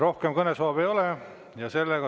Rohkem kõnesoove ei ole.